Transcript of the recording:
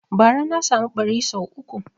Bara na samu ɓari sau uku